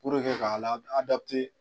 ka la